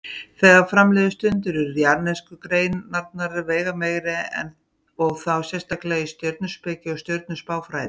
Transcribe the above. Þegar fram liðu stundir urðu jarðnesku greinarnar veigameiri og þá sérstaklega í stjörnuspeki og stjörnuspáfræði.